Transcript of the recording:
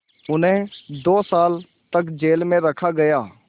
उन्हें दो साल तक जेल में रखा गया